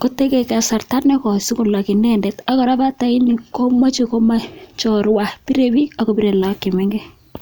koibe kasarta nekoi sikolok inendet ak kora bataini komoche komoe chorwa birebiik ak kobire lagok che mengech.